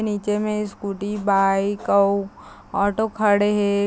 नीचे में scooty bike औ ऑटो खड़े हे ।